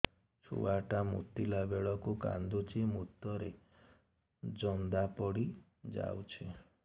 ଛୁଆ ଟା ମୁତିଲା ବେଳକୁ କାନ୍ଦୁଚି ମୁତ ରେ ଜନ୍ଦା ପଡ଼ି ଯାଉଛି